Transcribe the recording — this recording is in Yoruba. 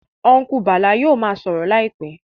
Ọ́nkùlù Bàlá yóò ma sọ̀rọ̀ láìpẹ́